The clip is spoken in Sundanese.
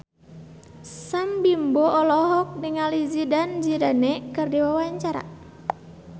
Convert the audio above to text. Sam Bimbo olohok ningali Zidane Zidane keur diwawancara